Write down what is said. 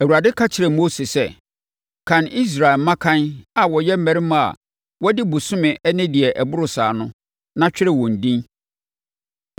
Awurade ka kyerɛɛ Mose sɛ, “Kan Israelfoɔ mmakan a wɔyɛ mmarima na wɔadi bosome ne deɛ ɛboro saa no, na twerɛ wɔn edin.